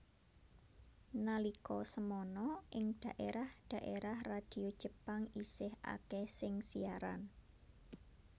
Nalika semana ing daérah daérah radio Jepang isih akèh sing siaran